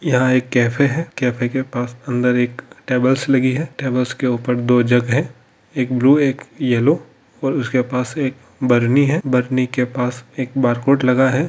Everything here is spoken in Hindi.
यहा एक कैफै है कैफै के पास अंदरी एक टेबल सी लागि है तबलेस के उपोर दो जग है एक ब्लू एक येलो और उसके पास एक बर्नी है बर्नी के पास एक बरकोड़े लगा है।